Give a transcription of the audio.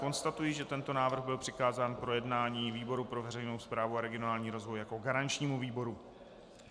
Konstatuji, že tento návrh byl přikázán k projednání výboru pro veřejnou správu a regionální rozvoj jako garančnímu výboru.